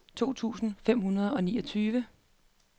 to tusind fem hundrede og niogtyve